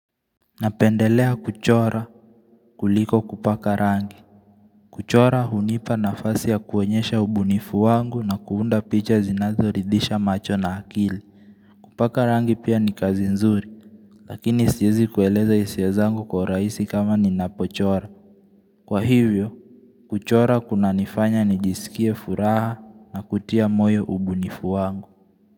Napendelea kuchora kuliko kupaka rangi. Kuchora hunipa nafasi ya kuonyesha ubunifu wangu na kuunda picha zinazoridisha macho na akili. Kupaka rangi pia ni kazi nzuri, lakini siwezi kueleza hisia zangu kwa urahisi kama ninapochora. Kwa hivyo, kuchora kunanifanya nijisikie furaha na kutia moyo ubunifu wangu.